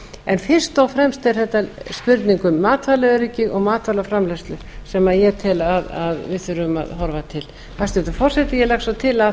en fyrst og fremst er þetta spurning um matvælaöryggið og matvælaframleiðslu sem við þurfum að horfa til hæstvirtur forseti ég legg svo til að